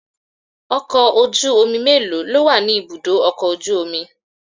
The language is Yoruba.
Ọkọ̀ ojú omi mélòó lówà ni ibùdó ọkọ̀ ojú omi?